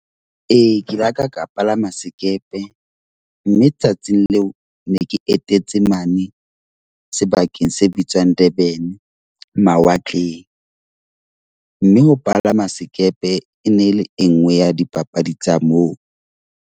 Ee, ke laka ka palama sekepe, mme tsatsing leo ne ke etetse mane sebakeng se bitswang Durban, mawatleng. Mme ho palama sekepe e ne le e nngwe ya dipapadi tsa moo.